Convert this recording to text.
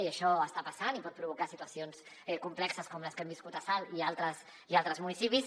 i això està passant i pot provocar situacions complexes com les que hem viscut a salt i a altres municipis